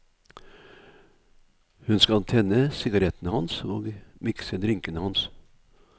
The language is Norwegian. Hun skal tenne sigarettene hans og mikse drinkene hans.